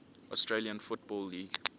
australian football league